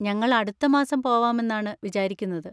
ഞങ്ങൾ അടുത്ത മാസം പോവാമെന്നാണ് വിചാരിക്കുന്നത്.